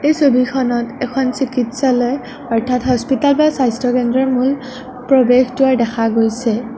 এই ছবিখনত এখন চিকিৎসালয় অৰ্থাৎ হস্পিটাল বা স্বাস্থ্যকেন্দ্ৰৰ মূল প্ৰৱেশ দ্বাৰ দেখা গৈছে।